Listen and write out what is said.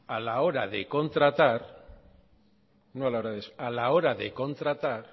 a la hora de contratar